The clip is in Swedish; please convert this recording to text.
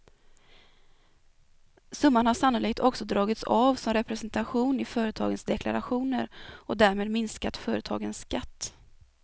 Summan har sannolikt också dragits av som representation i företagens deklarationer och därmed minskat företagens skatt.